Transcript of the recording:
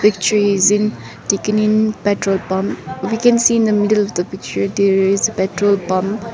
picture is in taken in petrol pump we can see in the middle of the picture there is petrol pump.